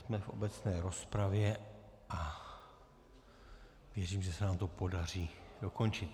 Jsme v obecné rozpravě a věřím, že se nám to podaří dokončit.